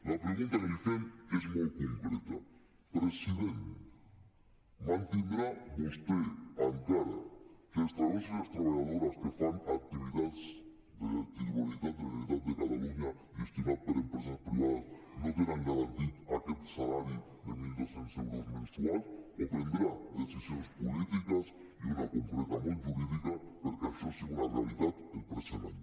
la pregunta que li fem és molt concreta president mantindrà vostè encara que els treballadors i les treballadores que fan activitats de titularitat de la generalitat de catalunya gestionades per empreses privades no tenen garantit aquest salari de mil dos cents euros mensuals o prendrà decisions polítiques i una concreta molt jurídica perquè això sigui una realitat el present any